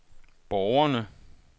borgerne